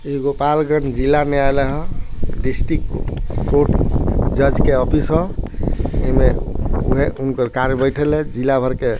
ई गोपालगंज जिला में आएला ह डिस्ट्रिक्ट को कोर्ट जज के ऑफिस है एमे उहे उनकर कार बैठल है जिला भर के।